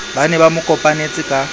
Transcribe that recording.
ba ne ba mokopanetse ka